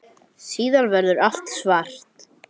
Nú skil ég þig ekki.